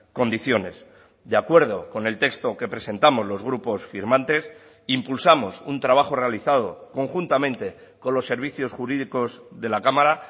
condiciones de acuerdo con el texto que presentamos los grupos firmantes impulsamos un trabajo realizado conjuntamente con los servicios jurídicos de la cámara